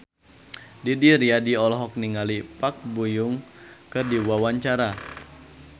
Didi Riyadi olohok ningali Park Bo Yung keur diwawancara